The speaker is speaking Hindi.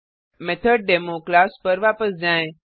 मेथड मेथोडेमो क्लास पर वापस जाएँ